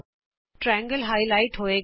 ਇਹ ਤ੍ਰਿਕੋਣ ਨੂੰ ਗੂੜਾ ਕਰਕੇ ਉਭਾਰੇਗਾ